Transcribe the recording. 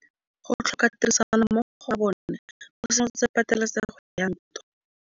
Go tlhoka tirsanommogo ga bone go simolotse patêlêsêgô ya ntwa.